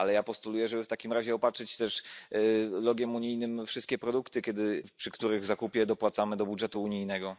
Ale ja postuluję, żeby w takim razie opatrzyć też logo unijnym wszystkie produkty, przy których zakupie dopłacamy do budżetu unijnego.